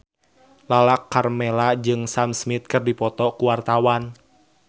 Lala Karmela jeung Sam Smith keur dipoto ku wartawan